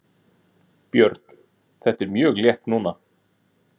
Björn: Þér er mjög létt núna?